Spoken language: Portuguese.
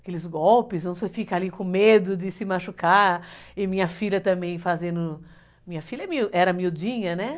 aqueles golpes, você fica ali com medo de se machucar, e minha filha também fazendo, minha filha era miudinha, né?